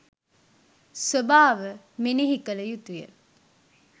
ස්වභාව මෙනෙහි කළ යුතු ය.